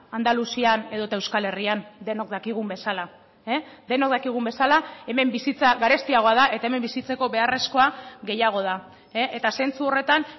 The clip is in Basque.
andaluzian edota euskal herrian denok dakigun bezala denok dakigun bezala hemen bizitza garestiagoa da eta hemen bizitzeko beharrezkoa gehiago da eta zentzu horretan